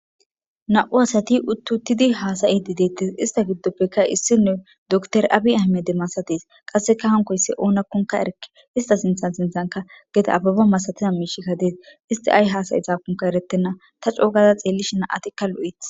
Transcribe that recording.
Na'u asati uttuuttidi haasayi di deettes ista giddoppekka issine doktor aabi amede masatis qasseka hankoysse oonakkonka erke ista sinthan sinthanka geta abuba masatiza miishikka dees isti ay haasayi saakonka erettenna ta coogaza xeellishina atikka lu'eeth.